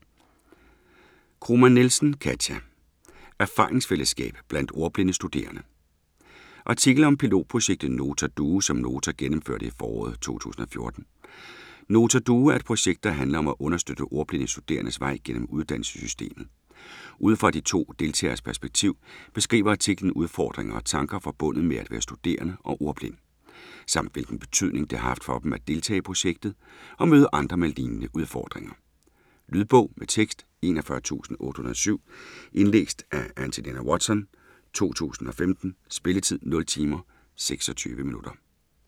Kromann Nielsen, Katia: Erfaringsfællesskab blandt ordblinde studerende Artikel om pilotprojektet Nota Duo som Nota gennemførte i foråret 2014. Nota Duo er et projekt, der handler om at understøtte ordblinde studerendes vej gennem uddannelsessystemet. Ud fra de to deltageres perspektiv beskriver artiklen udfordringer og tanker forbundet med at være studerende og ordblind, samt hvilken betydning det har haft for dem at deltage i projektet og møde andre med lignende udfordringer. Lydbog med tekst 41807 Indlæst af Angelina Watson, 2015. Spilletid: 0 timer, 26 minutter.